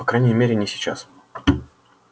по крайней мере не сейчас